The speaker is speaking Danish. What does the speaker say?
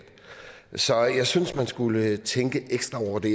så jeg synes man skulle tænke ekstra over det